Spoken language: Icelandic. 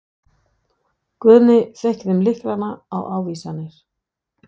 Guðni fékk þeim lyklana og ávísanirnar.